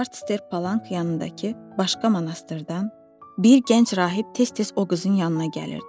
Artster Palank yanındakı başqa monastırdan bir gənc rahib tez-tez o qızın yanına gəlirdi.